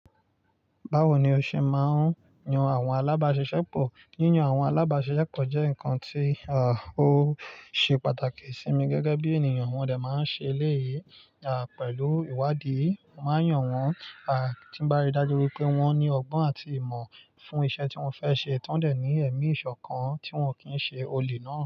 Báwo ni o ṣe máa ń yan àwọn alábàáṣiṣẹ́pọ̀? Yíyan àwọn alábàáṣiṣẹ́pọ̀ jẹ́ nǹkan tí à á ó ṣe pàtàkì sí mi gẹ́gẹ́ bí ènìyàn. Wọ́n dà máa ń ṣe eléyìí à pẹ̀lú ìwádìí. Mo máa ń yàn wọ́n à tí ń bá rí dájú wípé wọ́n ní ọgbọ́n àti ìmọ̀ fún iṣẹ́ tí wọ́n fẹ́ ṣe tán dẹ̀ ní ẹ̀mí ìṣọ̀kan tí wọn kì í ṣe olè náà.